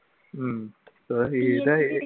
ഉം